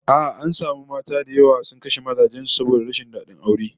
A'a, an samu mata da yawa sun kashe mazan su saboda rashin dadin aure